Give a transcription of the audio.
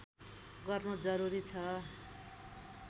गर्नु जरुरी छ